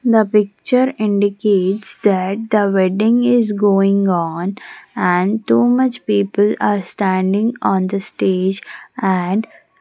The picture indicates that the wedding is going on and too much people are standing on the stage and --